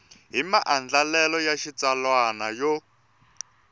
hi maandlalelo ya xitsalwana yo